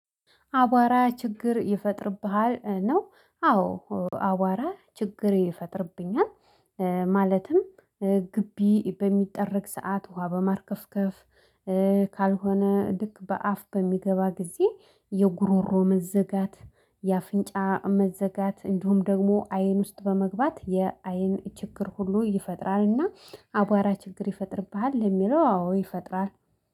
አቧራ ችግር ይፈጥርብሃል ነው አዎ አቧራ ችግር ይፈጥርብኛል። ማለትም ግቢ በሚጠረግ ሰዓት ውሃ በማርከፍከፍ። ካልሆነ ልክ በአፍ በሚገባ ጊዜ የጉሮሮ መዘጋት የአፍንጫ መዘጋት እንዲሁም ደግሞ አይን ውስጥ በመግባት የአይን ችግር ሁሉ ይፈጥራልና። አቧራ ችግር ይፈጥርብሃል? ለሚለው አዎ ይፈጥራል